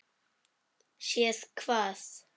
Séð hvað?